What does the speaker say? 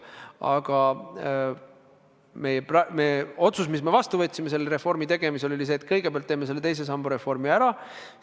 Aga otsus, mis me selle reformi tegemisel vastu võtsime, oli see, et kõigepealt teeme teise samba reformi ära.